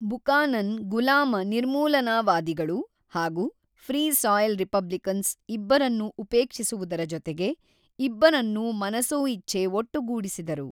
Buchanan ಗುಲಾಮ ನಿರ್ಮೂಲನಾವಾದಿಗಳು ಹಾಗು ಫ್ರೀ ಸಾಯಿಲ್ ರಿಪಬ್ಲಿಕನ್ಸ್ ಇಬ್ಬರನ್ನು ಉಪೇಕ್ಷಿಸುವುದರ ಜೊತೆಗೆ ಇಬ್ಬರನ್ನು ಮನಸೋಇಚ್ಛೆ ಒಟ್ಟುಗೂಡಿಸಿದರು.